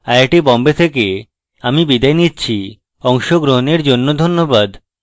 IIT Bombay থেকে আমি বিদায় নিচ্ছি অংশগ্রহণের জন্য ধন্যবাদ